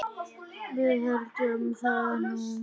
Við héldum það nú.